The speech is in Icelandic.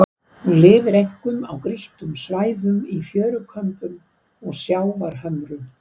Hún lifir einkum á grýttum svæðum í fjörukömbum og sjávarhömrum.